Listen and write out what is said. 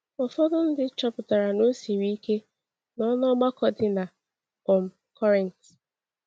Ụfọdụ ndị chọpụtara na ọ siri ike nọ n’ọgbakọ dị na um Korint.